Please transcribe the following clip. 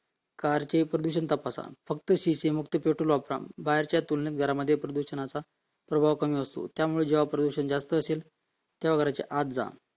कारके प्रदूषण तपासा फक्त शिशी मुक्त पेट्रोल वापरा बाहेरच्या तुलनेत घरामध्ये प्रदूषणाचा प्रभाव कमी असतो जेव्हा प्रदूषण जास्त असेल तेव्हा घराच्या आत जा